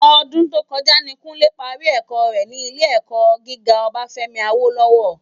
Òdún tókòjá ni Kunle pàrí èkò rè ni ilé èkò gigá Obafemi Awolowo